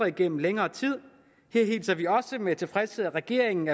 igennem længere tid her hilser vi også med tilfredshed at regeringen